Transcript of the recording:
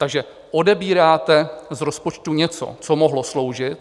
Takže odebíráte z rozpočtu něco, co mohlo sloužit.